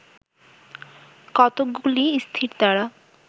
কতকগুলি স্থিরতারা